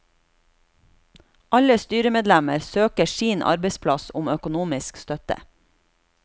Alle styremedlemmer søker sin arbeidsplass om økonomisk støtte.